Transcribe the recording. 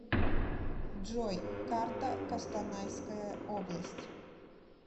джой карта костанайская область